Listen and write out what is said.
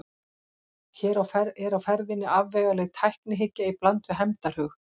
Hér er á ferðinni afvegaleidd tæknihyggja í bland við hefndarhug.